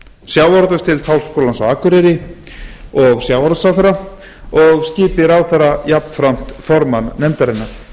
sjávarútvegsdeild háskólans á akureyri og sjávarútvegsráðherra og skipi ráðherra jafnframt formann nefndarinnar